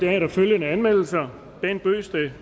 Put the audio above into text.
er der følgende anmeldelser bent bøgsted